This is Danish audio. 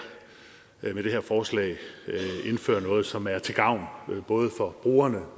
forslag indfører noget som er til gavn både for brugerne